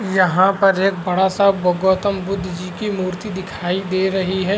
यहाँ पर एक बड़ा सा गौतम बुद्ध जी की मूर्ति दिखाई दे रही है।